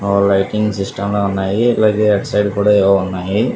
lighting system ల ఉన్నాయి కూడా ఉన్నాయి --